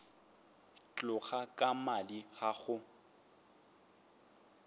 tloga ka madi ga go